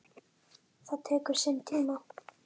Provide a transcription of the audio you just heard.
Það tekur sinn tíma.